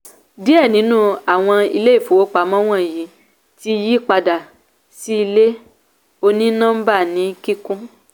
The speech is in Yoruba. díẹ̀ nínú àwọn ilé ìfowópamọ́ wọnyí ti yí padà sí ilé òní-nọ́ḿbà ní kíkún